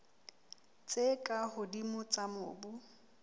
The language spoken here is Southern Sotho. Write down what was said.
tse ka hodimo tsa mobu